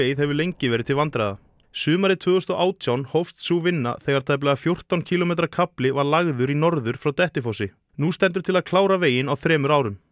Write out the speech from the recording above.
hefur lengi verið til vandræða sumarið tvö þúsund og átján hófst sú vinna þegar tæplega fjórtán kílómetra kafli var lagður í norður frá Dettifossi nú stendur til að klára veginn á þremur árum